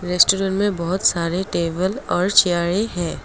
इस चित्र में बहुत सारे टेबल और चेयरे हैं।